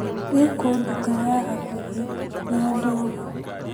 ĩkũ nduka ya a hakuhĩ ya ndogo?